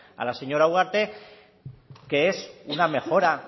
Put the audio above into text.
a la señora ugarte que es una mejora